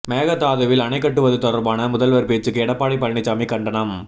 மேகதாதுவில் அணை கட்டுவது தொடர்பான முதல்வர் பேச்சுக்கு எடப்பாடி பழனிசாமி கண்டனம்